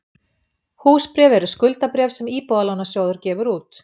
Húsbréf eru skuldabréf sem Íbúðalánasjóður gefur út.